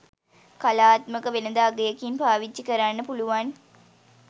කලාත්මක වෙළඳ අගයකින් පාවිච්චි කරන්න පුළුවන්